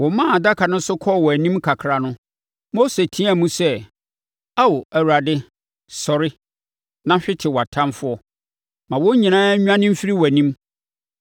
Wɔmaa adaka no so kɔɔ wɔn anim kakra no, Mose teaam sɛ, “Ao, Awurade, sɔre! Na hwete wʼatamfoɔ; ma wɔn nyinaa nnwane mfiri wʼanim.”